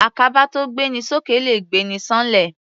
Àkàbà tó gbé ni s'ókè le gbé'ni ṣán'lẹ̀.